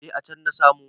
Eh a can na samu.